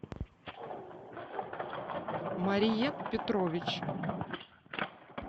мария петрович